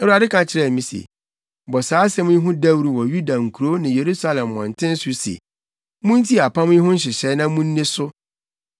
Awurade ka kyerɛɛ me se, “Bɔ saa asɛm yi ho dawuru wɔ Yuda nkurow ne Yerusalem mmɔnten so se: ‘Muntie apam yi ho nhyehyɛe na munni so.